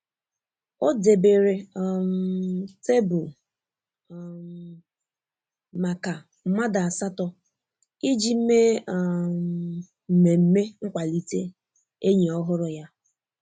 O debere um tebụl um maka mmadụ asatọ iji mee um mmemme nkwalite enyi ọhụrụ ya.